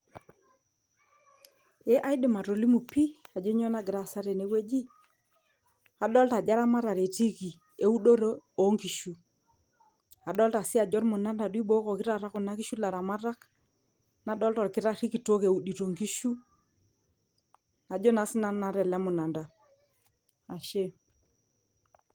ee aidim atolimu pii ajo nyoo nagira aasa tenewueji adolta ajo eramatare etiiki eudoto onkishu adolta sii ajo ormunanda duo eibokoki taata kuna kishu ilaramatak nadolta orkitarri kitok eudito nkishu ajo naa sinanu naa tele munanda ashe.